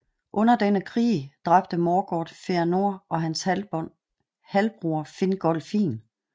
Under denne krig dræbte Morgoth Fëanor og hans halvbror Fingolfin